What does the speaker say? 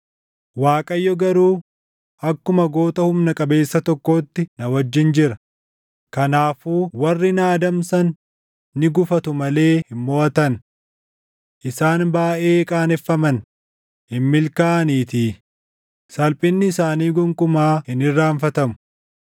Waaqayyo garuu akkuma goota humna qabeessa tokkootti // na wajjin jira; kanaafuu warri na adamsan ni gufatu malee hin moʼatan. Isaan baayʼee qaaneffaman; hin milkaaʼaniitii; salphinni isaanii gonkumaa hin irraanfatamu.